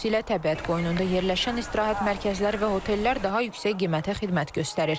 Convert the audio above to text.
Xüsusilə təbiət qoynunda yerləşən istirahət mərkəzləri və hotellər daha yüksək qiymətə xidmət göstərir.